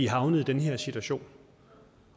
havnet i den her situation